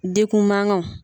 De kun manganw.